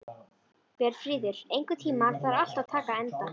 Björnfríður, einhvern tímann þarf allt að taka enda.